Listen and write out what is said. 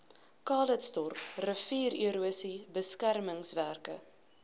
calitzdorp riviererosie beskermingswerke